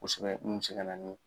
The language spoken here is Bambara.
Kosɛbɛ mun bɛ se ka na nin